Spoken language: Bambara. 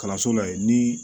Kalanso la yen ni